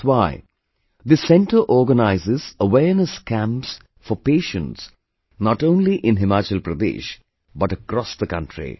That's why, this centre organizes awareness camps for patients not only in Himachal Pradesh but across the country